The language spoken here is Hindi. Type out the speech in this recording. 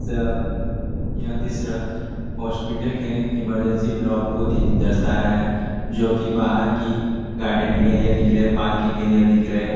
सा यह दिसर हॉस्पिटल के इमरजेंसी ब्लाक को दी दर्शा रहा है जो कि बाहर की गार्डनिंग एरिया दिख रहे पार्किंग एरिया दिख रहे --